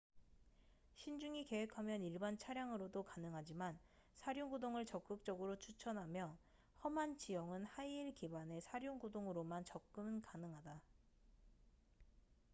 신중히 계획하면 일반 차량으로도 가능하지만 사륜구동을 적극적으로 추천하며 험한 지형은 하이힐 기반의 사륜구동으로만 접근 가능하다